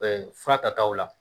Ɛɛ fura tataw la